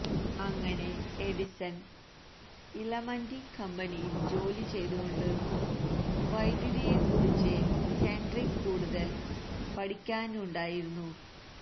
അങ്ങനെ Edison illuminating കമ്പനിയിൽ ജോലി ചെയ്തുകൊണ്ട് വൈദ്യുതിയെ കുറിച്ച് ഹെൻറിക്ക് കൂടുതൽ പഠിക്കാനുണ്ടായിരുന്നു